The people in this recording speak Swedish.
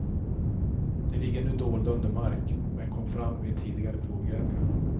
De ligger nu dolda under mark, men kom fram vid tidigare provgrävningar.